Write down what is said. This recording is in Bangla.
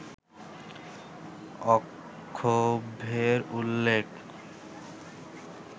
অক্ষোভ্যের উল্লেখ